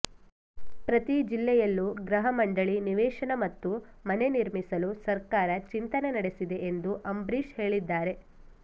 ಪ್ರತಿ ಜಿಲ್ಲೆಯಲ್ಲೂ ಗೃಹ ಮಂಡಳಿ ನಿವೇಶನ ಮತ್ತು ಮನೆ ನಿರ್ಮಿಸಲು ಸರ್ಕಾರ ಚಿಂತನೆ ನಡೆಸಿದೆ ಎಂದು ಅಂಬರೀಶ್ ಹೇಳಿದ್ದಾರೆ